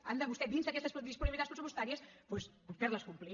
han de vostès dins d’aquestes disponibilitats pressupostàries doncs fer les complir